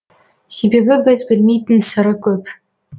себебі біз білмейтін сыры көп